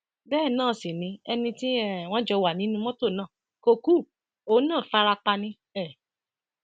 bẹẹ náà sì ni ẹni tí um wọn jọ wà nínú mọtò náà kò ku òun náà farapa ni um